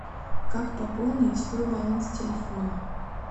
как пополнить свой баланс телефона